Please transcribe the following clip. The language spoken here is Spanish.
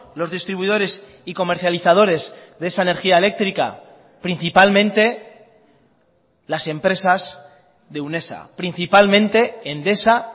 los distribuidores y comercializadores de esa energía eléctrica principalmente las empresas de unesa principalmente endesa